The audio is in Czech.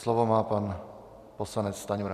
Slovo má pan poslanec Stanjura.